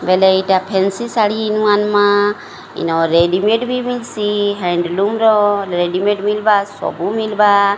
ବୋଇଲେ ଏଇଟା ଫେନ୍ସି ଶାଢ଼ୀ ନୂଆ ନୂଆ ଏନ୍ ରେଡିମେଡ ବି ମିଲସି ହାଣ୍ଡଲୁମ୍ ର ରେଡିମେଡ ମିଲବା ସବୁ ମିଲବା।